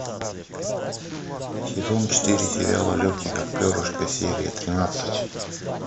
сезон четыре сериала легкий как перышко серия тринадцать